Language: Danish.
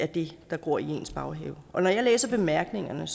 det der gror i ens baghave når jeg læser bemærkningerne